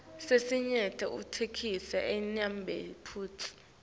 lesinyenti itheksthi ayinamaphutsa